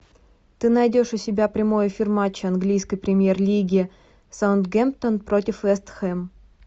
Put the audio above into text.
ты найдешь у себя прямой эфир матча английской премьер лиги саутгемптон против вест хэм